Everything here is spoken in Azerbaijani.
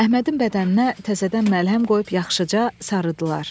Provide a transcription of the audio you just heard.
Əhmədin bədəninə təzədən məlhəm qoyub yaxşıca sarıdılar.